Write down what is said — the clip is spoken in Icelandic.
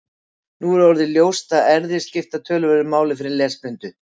Nú er einnig orðið ljóst að erfðir skipta töluverðu máli fyrir lesblindu.